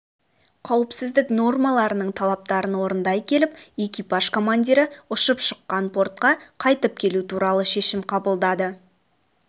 қауіпсіздік нормаларының талаптарын орындай келіп экипаж командирі ұшып шыққан портқа қайтып келу туралы шешім қабылдады